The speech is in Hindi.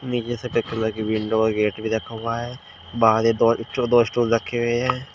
एक जैसे टेक कलर के विंडो और गेट भी रखा हुआ है बाहर एक और दो स्टूल रखे हुए हैं।